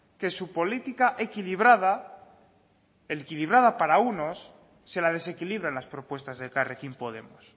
que su política equilibrada equilibrada para unos se la desequilibran las propuestas de elkarrekin podemos